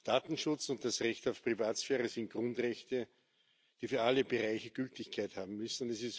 Datenschutz und das Recht auf Privatsphäre sind Grundrechte, die für alle Bereiche Gültigkeit haben müssen.